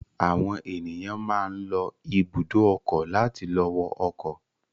Àwọn ènìyàn máa ń lọ ibùdó ọkọ̀ láti lọ wọ ọkọ̀.